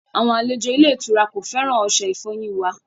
Àwọn aléjò ilẹ̀-ìtura kò fẹ́ran ọṣẹ̀-ìfọ́yin wà.